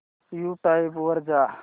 YouTube वर जा